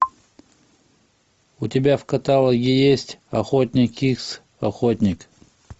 у тебя в каталоге есть охотник икс охотник